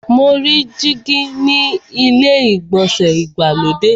Mo rí dígí ni ilé ìgbọ̀nsẹ̀ ìgbàlódé.